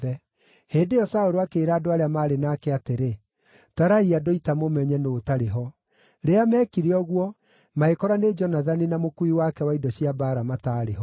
Hĩndĩ ĩyo Saũlũ akĩĩra andũ arĩa maarĩ nake atĩrĩ, “Tarai andũ a ita mũmenye nũũ ũtarĩ ho.” Rĩrĩa meekire ũguo, magĩkora nĩ Jonathani na mũkuui wake wa indo cia mbaara mataarĩ ho.